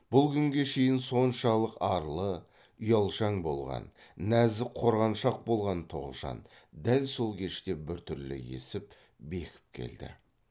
бұл күнге шейін соншалық арлы ұялшан болған нәзік қорғаншақ болған тоғжан дәл сол кеште біртүрлі есіп бекіп келді